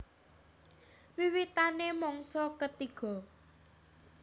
Wiwitané mangsa ketiga